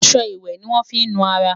aṣọ ìwé ní wón fí nu ará